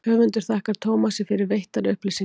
höfundur þakkar tómasi fyrir veittar upplýsingar